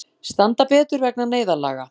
Standa betur vegna neyðarlaga